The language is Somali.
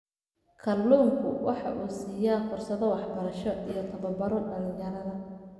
Kalluunku waxa uu siiyaa fursado waxbarasho iyo tababaro dhalinyarada.